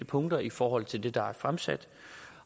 punkter i forhold til det der er fremsat